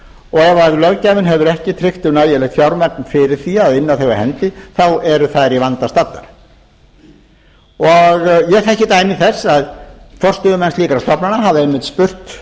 og ef löggjafinn hefur ekki tryggt þeim nægilegt fjármagn fyrir því að inna þau af hendi eru þær í vanda staddar ég þekki dæmi þess að forstöðumenn slíkra stofnana hafa einmitt spurt